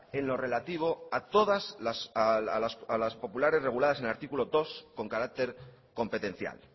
en lo relativo a todas las populares reguladas en el artículo dos con carácter competencial